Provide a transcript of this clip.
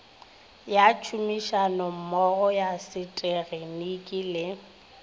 ya tšhomišanommogo ya seteginiki le